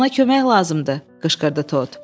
Ona kömək lazımdır, qışqırdı Tod.